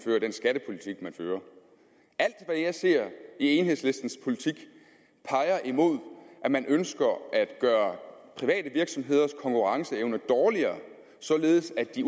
fører alt hvad jeg ser i enhedslistens politik peger imod at man ønsker at gøre private virksomheders konkurrenceevne dårligere således at de